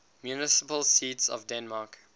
municipal seats of denmark